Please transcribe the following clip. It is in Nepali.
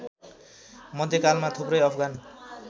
मध्यकालमा थुप्रै अफगान